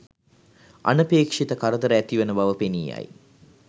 අනපේක්ෂිත කරදර ඇතිවන බව පෙනී යයි.